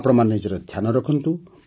ଆପଣମାନେ ନିଜର ଧ୍ୟାନ ରଖନ୍ତୁ